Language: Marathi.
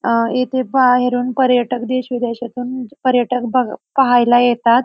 अं येथे बाहेरून पर्यटक देश विदेशातून पर्यटक बघ पाहायला येतात.